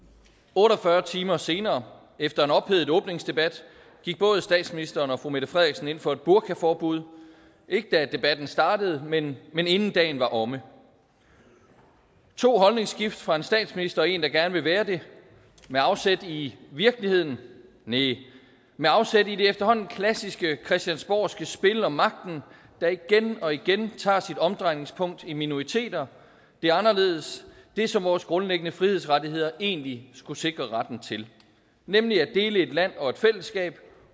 otte og fyrre timer senere efter en ophedet åbningsdebat gik både statsministeren og fru mette frederiksen ind for et burkaforbud ikke da debatten startede men men inden dagen var omme to holdningsskift fra en statsminister og en der gerne vil være det med afsæt i virkeligheden næh med afsæt i det efterhånden klassiske christiansborgske spil om magten der igen og igen tager sit omdrejningspunkt i minoriteter det anderledes det som vores grundlæggende frihedsrettigheder egentlig skulle sikre retten til nemlig at dele et land og et fællesskab